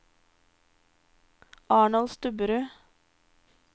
Arnold Stubberud